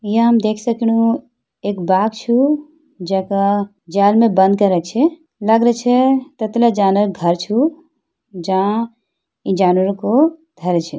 याम देख सकणु एक बाग छू जैका जाल मा बंद कर्या छे लागरा छै तत्ला जानर घर छू जाँ ई जानवरों को धैर्य छे।